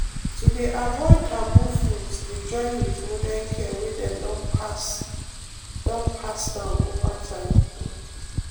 to dey avoid taboo foods dey join with modern care wey dem don pass don pass down over time um.